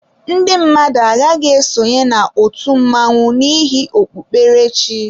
Ndị mmadụ agaghịzi esonye na otu mmanwu n'ihi okpukpere chi.